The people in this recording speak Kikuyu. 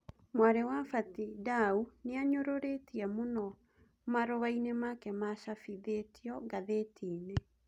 Mwarĩ wa Bati Ndau nianyũrũrĩtie mũno marũainĩ make macabithĩtio ngathĩtiĩnĩ.